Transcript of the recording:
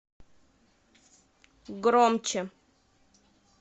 громче